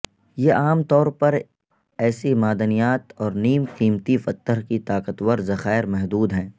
یہ عام طور پر ایسک معدنیات اور نیم قیمتی پتھر کی طاقتور ذخائر محدود ہیں